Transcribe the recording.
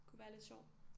Kunne være lidt sjovt